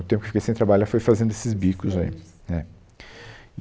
O tempo que eu fiquei sem trabalhar foi fazendo esses bicos aí. É, e